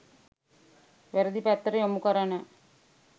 වැරැදි පැත්තට යොමු කරන